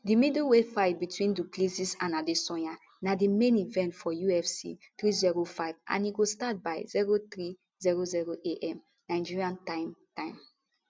di middleweight fight between du plessis and adesanya na di main event for ufc 305 and e go start by 0300am nigeria time time